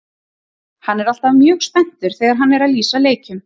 Hann er alltaf mjög spenntur þegar hann er að lýsa leikjum.